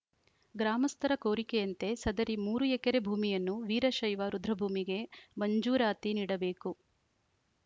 ಗ್ರಾಮಸ್ಥರ ಕೋರಿಕೆಯಂತೆ ಸದರಿ ಮೂರು ಎಕರೆ ಭೂಮಿಯನ್ನು ವೀರಶೈವ ರುದ್ರಭೂಮಿಗೆ ಮಂಜೂರಾತಿ ನೀಡಬೇಕು